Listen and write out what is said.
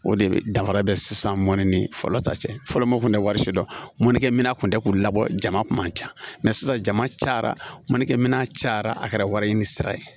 O de bɛ danfara bɛ sisan mɔni ni fɔlɔ ta cɛ fɔlɔ mun kun tɛ wari si dɔnnikɛ minɛ kun tɛ k'u labɔ jama kun man ca mɛ sisan jama cayara mɔnikɛ minɛ cayara a kɛra wari ɲini sira ye